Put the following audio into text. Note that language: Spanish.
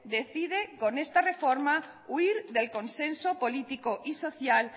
decide con esta reforma huir del consenso político y social